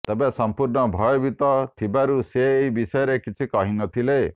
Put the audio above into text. ତେବେ ସଂପୂର୍ଣ୍ଣ ଭୟଭୀତ ଥିବାରୁ ସେ ଏ ବିଷୟରେ କିଛି କହିନଥିଲେ